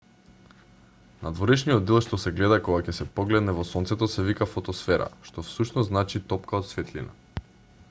надворешниот дел што се гледа кога ќе се погледне во сонцето се вика фотосфера што всушност значи топка од светлина